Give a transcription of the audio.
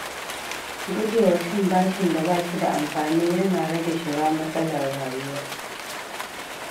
Guje wa cin bashin da ba shi da amfani yana rage shiga matsalar rayuwa.